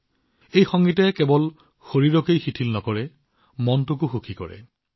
এই সংগীতে কেৱল শৰীৰক শিথিল কৰাই নহয় লগতে মনকো আনন্দ দিয়ে